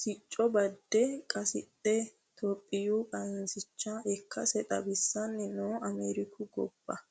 sicco badde qasidhe itophiyu qansicha ikkase xawisanni noo Ameriku gobbara.